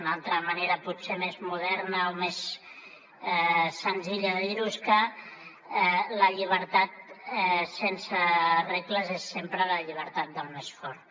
una altra manera potser més moderna o més senzilla de dir ho és que la llibertat sense regles és sempre la llibertat del més fort